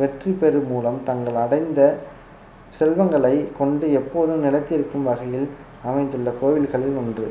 வெற்றி பெரு மூலம் தங்கள் அடைந்த செல்வங்களை கொண்டு எப்போதும் நிலைத்திருக்கும் வகையில் அமைந்துள்ள கோவில்களில் ஒன்று